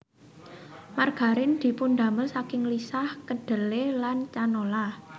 Margarin dipundamel saking lisah kedhele lan canola